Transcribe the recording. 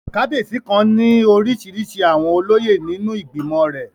Kábíyèsí kan ní orísirísi àwọn olóyè nínú ìgbìmọ̀ rẹ̀